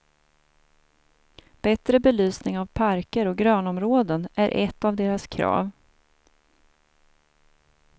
Bättre belysning av parker och grönområden är ett av deras krav.